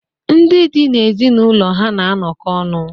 Ndị di na ezinụlọ ha na-anọkọ ọnụ.